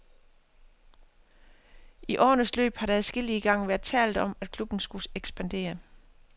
I årenes løb har der adskillige gange været talt om at klubben skulle ekspandere.